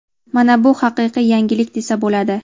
Mana buni haqiqiy yangilik desa bo‘ladi‼.